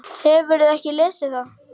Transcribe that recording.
Hefurðu ekki lesið það!